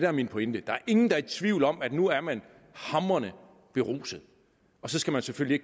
er min pointe der er ingen der er i tvivl om at nu er man hamrende beruset og så skal man selvfølgelig